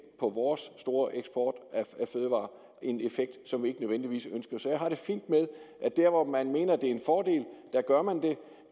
på vores store eksport af fødevarer en effekt som vi ikke nødvendigvis ønsker så jeg har det fint med at der hvor man mener det er en fordel gør man